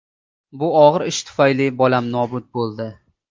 Bu og‘ir ish tufayli bolam nobud bo‘ldi.